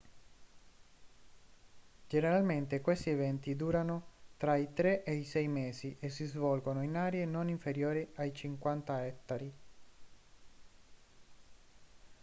generalmente questi eventi durano tra i tre e i sei mesi e si svolgono in aree non inferiori ai 50 ettari